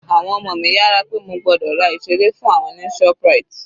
Àwọn ọmọ mi yára pé mo gbọ́dọ̀ ra ìseré fún àwọn ní ShopRite